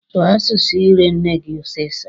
Sụọ asụsụ ire nne gị ọsịsọ!